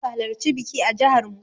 Mawaƙa zasu halarci biki a jihar mu.